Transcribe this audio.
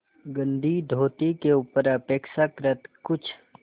गंदी धोती के ऊपर अपेक्षाकृत कुछ